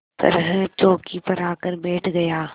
तरह चौकी पर आकर बैठ गया